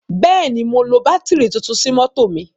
Bẹ́ẹ̀ ni, mo lo bátìrì tuntun sí mọ́tọ̀ mi.